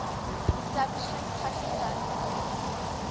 establishing pakistan's new